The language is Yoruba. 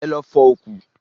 Ẹ lọ fọ òkú!